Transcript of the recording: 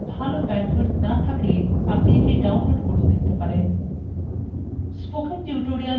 আপনার ভাল bandwidth না থাকলে আপনি এটি download করেও দেখতে পারেন